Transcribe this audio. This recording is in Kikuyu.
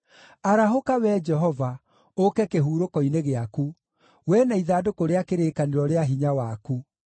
arahũka, Wee Jehova, ũũke kĩhurũko-inĩ gĩaku, wee na ithandũkũ rĩa kĩrĩkanĩro rĩa hinya waku.